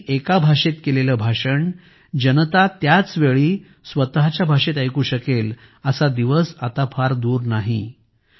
कोणत्याही एका भाषेत केलेलं भाषण जनता त्याच वेळी स्वतःच्या भाषेत ऐकू शकेल असा दिवस आता फार दूर नाही